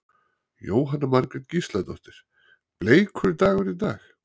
Jóhanna Margrét Gísladóttir: Bleikur dagur í dag?